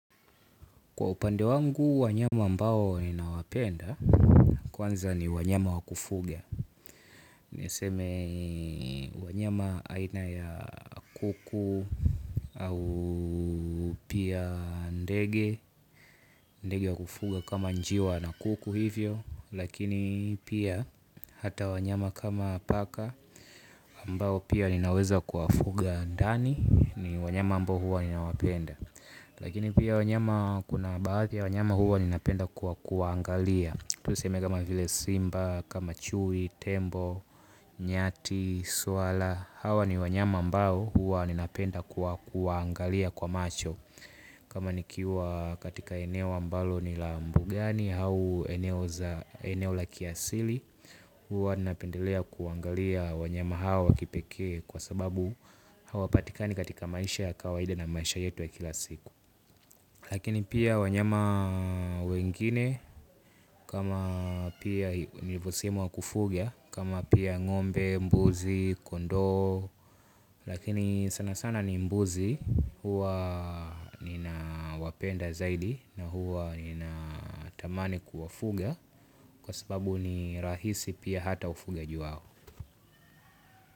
Kwa upande wangu wanyama ambao ninawapenda. Kwanza ni wanyama wa kufuga. Niseme, wanyama aina ya kuku, au pia ndege. Ndege wa kufuga kama njiwa na kuku hivyo, lakini pia hata wanyama kama paka, ambao pia ninaweza kuwafuga ndani. Ni wanyama ambao huwa ninawapenda. Lakini pia wanyama kuna baadhi ya wanyama huwa ninapenda kwa kuwaangalia. Tuseme kama vile simba, kama chui, tembo, nyati, swala. Hawa ni wanyama ambao huwa ninapenda kwa kuwaangalia kwa macho. Kama nikiwa katika eneo ambalo ni la mbugani au eneo za, eneo la kiasili, huwa ninapendelea kuangalia wanyama hawa wa kipekee kwa sababu, hawapatikani katika maisha ya kawaida na maisha yetu wa kila siku. Lakini pia wanyama wengine kama pia nilivyosema wa kufuga, kama pia ng'ombe, mbuzi, kondoo, lakini sana sana ni mbuzi, huwa ninawapenda zaidi na huwa ninatamani kuwafuga, kwa sababu ni rahisi pia hata ufugaji wao.